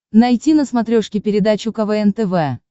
найти на смотрешке передачу квн тв